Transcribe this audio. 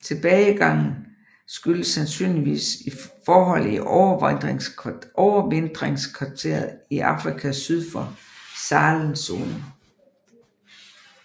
Tilbagegangen skyldes sandsynligvis forhold i overvintringskvarteret i Afrika syd for Sahelzonen